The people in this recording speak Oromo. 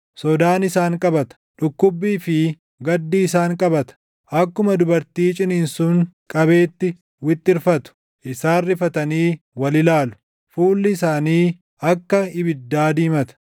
Sodaan isaan qabata; dhukkubbii fi gaddi isaan qabata; akkuma dubartii ciniinsuun qabeetti wixxirfatu. Isaan rifatanii wal ilaalu; fuulli isaanii akka ibiddaa diimata.